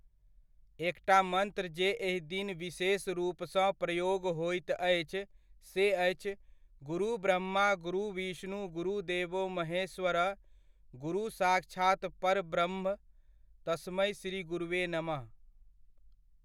एकटा मन्त्र जे एहि दिन विशेष रूपसँ प्रयोग होइत अछि से अछि गुरु ब्रह्मा गुरु विष्णु गुरु देवो महेश्वर, गुरु साक्षात् परब्रह्म तस्मै श्री गुरवे नमः।